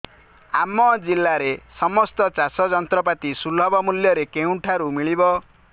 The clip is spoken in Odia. ଆମ ଜିଲ୍ଲାରେ ସମସ୍ତ ଚାଷ ଯନ୍ତ୍ରପାତି ସୁଲଭ ମୁଲ୍ଯରେ କେଉଁଠାରୁ ମିଳିବ